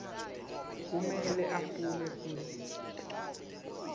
kumele afune futsi